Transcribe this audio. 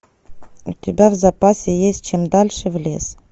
у тебя в запасе есть чем дальше в лес